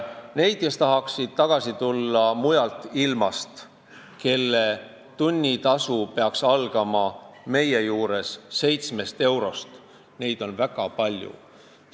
Neid, kes tahaksid mujalt ilmast tagasi tulla ja kelle tunnitasu peaks meie juures algama 7 eurost, on väga palju.